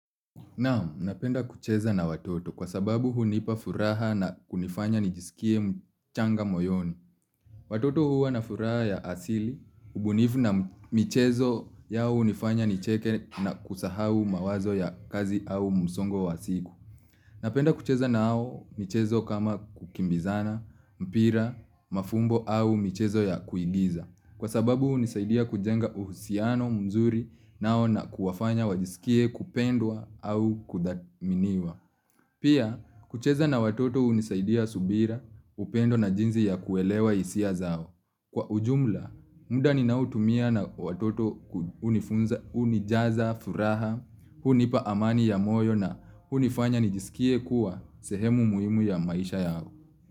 Nam, napenda kucheza na watoto kwa sababu hunipa furaha na kunifanya nijisikie mchanga moyoni. Watoto huwa na furaha ya asili, ubunifu na michezo yao hunifanya nicheke na kusahau mawazo ya kazi au msongo wa siku. Napenda kucheza nao michezo kama kukimbizana, mpira, mafumbo au michezo ya kuigiza. Kwa sababu unisaidia kujenga uhusiano mzuri nao na kuwafanya wajisikie kupendwa au kudatminiwa. Pia, kucheza na watoto unisaidia subira upendo na jinzi ya kuelewa isia zao. Kwa ujumla, muda ninao tumia na watoto unijaza, furaha, hunipa amani ya moyo na hunifanya nijisikie kuwa sehemu muhimu ya maisha yao.